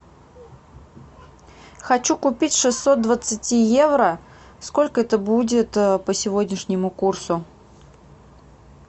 хочу купить шестьсот двадцати евро сколько это будет по сегодняшнему курсу